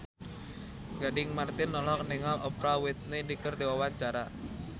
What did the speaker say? Gading Marten olohok ningali Oprah Winfrey keur diwawancara